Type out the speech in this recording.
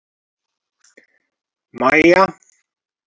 Maja